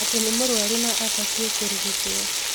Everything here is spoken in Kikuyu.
Atĩ nĩ mũrũaru na abatiĩ kũrigitwo